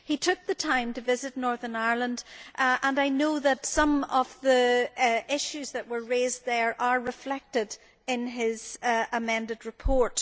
He took the time to visit Northern Ireland and I know that some of the issues that were raised there are reflected in his amended report.